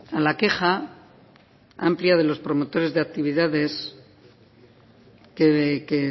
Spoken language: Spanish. a la queja ha ampliado los promotores de actividades que